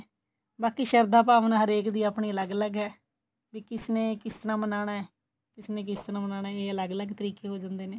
ਬਾਕੀ ਸ਼ਾਰਦਾ ਭਾਵਨਾ ਹਰੇਕ ਦੀ ਆਪਣੀ ਅਲੱਗ ਅਲੱਗ ਏ ਬੀ ਕਿਸ ਨੇ ਕਿਸ ਤਰ੍ਹਾਂ ਮਨਾਉਣਾ ਕਿਸ ਨੇ ਕਿਸ ਤਰ੍ਹਾਂ ਮਨਾਉਣਾ ਇਹ ਅਲੱਗ ਅਲੱਗ ਤਰੀਕੇ ਹੋ ਜਾਂਦੇ ਨੇ